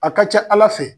A ka ca ala fɛ